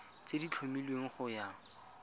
tse di tlhomilweng go ya